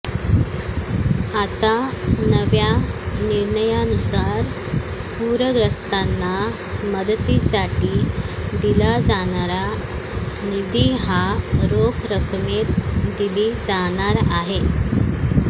आता नव्या निर्णयानुसार पूरग्रस्तांना मदती साठी दिला जाणारा निधी हा रोख रक्कमेत दिली जाणार आहे